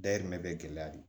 Dayirimɛ bɛ gɛlɛya de